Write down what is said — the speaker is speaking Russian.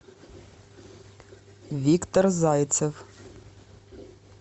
виктор зайцев